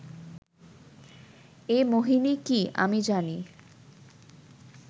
এ মোহিনী কি, আমি জানি